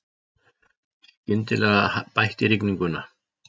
Skyndilega bætti í rigninguna.